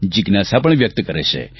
જિજ્ઞાસા પણ વ્યક્ત કરે છે